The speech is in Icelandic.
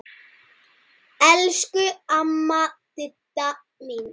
Elsku amma Didda mín.